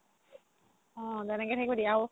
অ তেনেকে থাকিব দি আৰু